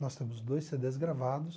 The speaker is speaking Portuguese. Nós temos dois cê dês gravados.